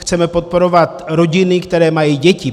Chceme podporovat rodiny, které mají děti.